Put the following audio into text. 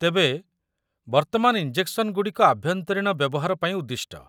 ତେବେ, ବର୍ତ୍ତମାନ ଇଞ୍ଜେକ୍ସନଗୁଡ଼ିକ ଆଭ୍ୟନ୍ତରୀଣ ବ୍ୟବହାର ପାଇଁ ଉଦ୍ଦିଷ୍ଟ।